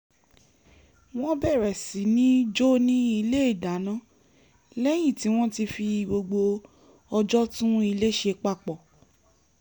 wọ́n bẹ̀rẹ̀ sí ní jó ní ilé ìdáná lẹ́yìn tí wọ́n ti fi gbogbo ọjọ́ tún ilé ṣe papọ̀